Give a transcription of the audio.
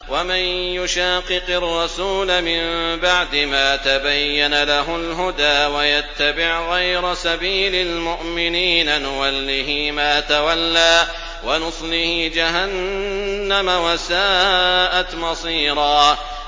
وَمَن يُشَاقِقِ الرَّسُولَ مِن بَعْدِ مَا تَبَيَّنَ لَهُ الْهُدَىٰ وَيَتَّبِعْ غَيْرَ سَبِيلِ الْمُؤْمِنِينَ نُوَلِّهِ مَا تَوَلَّىٰ وَنُصْلِهِ جَهَنَّمَ ۖ وَسَاءَتْ مَصِيرًا